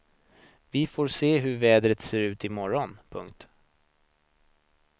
Vi får se hur vädret ser ut i morgon. punkt